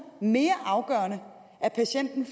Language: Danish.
mere afgørende at patienten